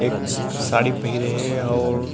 एक साड़ी पहिरे हे अऊ--